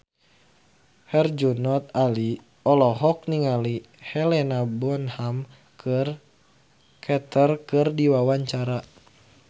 Herjunot Ali olohok ningali Helena Bonham Carter keur diwawancara